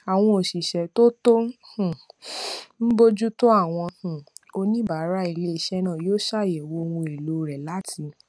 àwọn òṣìṣẹ tó tó um ń bójú tó àwọn um oníbàárà iléiṣẹ náà yóò ṣàyèwò ohun èlò rẹ láti